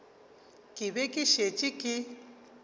ke be ke šetše ke